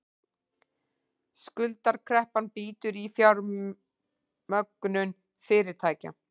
Skuldakreppan bítur í fjármögnun fyrirtækja